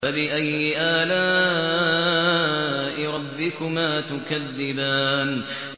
فَبِأَيِّ آلَاءِ رَبِّكُمَا تُكَذِّبَانِ